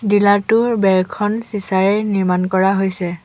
Dealer টোৰ বেৰখন চিঁচাৰে নিৰ্মাণ কৰা হৈছে।